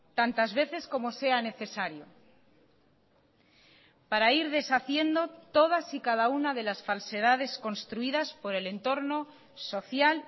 tantas veces como sea necesario para ir deshaciendo todas y cada una de las falsedades construidas por el entorno social